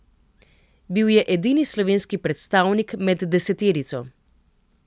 Bil je edini slovenski predstavnik med deseterico.